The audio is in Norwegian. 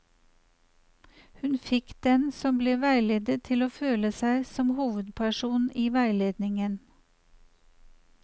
Hun fikk den som ble veiledet til å føle seg som hovedpersonen i veiledningen.